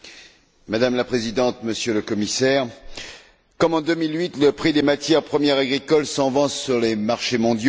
Madame la Présidente, Monsieur le Commissaire, comme en 2008, le prix des matières premières agricoles s'envole sur les marchés mondiaux.